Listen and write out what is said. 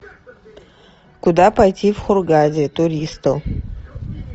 куда пойти в хургаде туристу